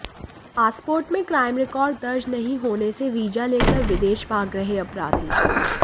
passport में crime record दर्ज नहीं होने से वीजा लेकर विदेश भाग रहे अपराधी